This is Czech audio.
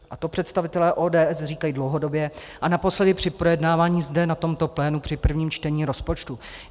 A to představitelé ODS říkají dlouhodobě a naposledy při projednávání zde na tomto plénu při prvním čtení rozpočtu.